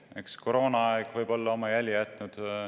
Eks võib-olla koroonaaeg on oma jälje jätnud.